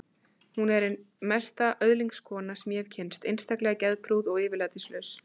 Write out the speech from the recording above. Hún er ein mesta öðlingskona sem ég hef kynnst, einstaklega geðprúð og yfirlætislaus.